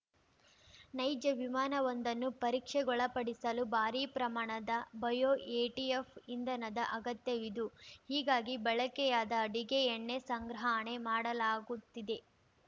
ನೈಜ ವಿಮಾನವೊಂದನ್ನು ಪರೀಕ್ಷೆಗೊಳಪಡಿಸಲು ಭಾರೀ ಪ್ರಮಾಣದ ಬಯೋ ಎಟಿಎಫ್‌ ಇಂಧನದ ಅಗತ್ಯವುದು ಹೀಗಾಗಿ ಬಳಕೆಯಾದ ಅಡಗೆ ಎಣ್ಣೆ ಸಂಗ್ರಹಣೆ ಮಾಡಲಾಗುತ್ತಿದೆ